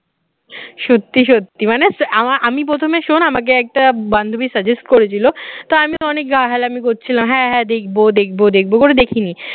সত্যি সত্যি মানে আমার আমি প্রথমে শোন আমাকে একটা বান্ধবীর suggest করেছিল তা আমি অনেক গা হেলামি করছিলাম হ্যাঁ হ্যাঁ দেখব দেখব দেখব করে দেখিনি